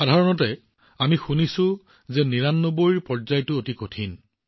সাধাৰণতে আমি শুনিবলৈ পাওঁ যে নিৰানব্বৈৰ ৯৯ তম পৰা ঘূৰি অহাটো অতি কঠিন